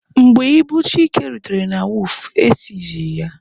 Mgbe ibu Chike rutere na wọọfụ,e sizie ya.